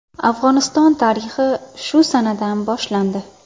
Afg‘oniston tarixi shu sanadan boshlandi.